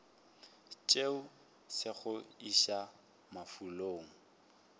tšeago se go iša mafulong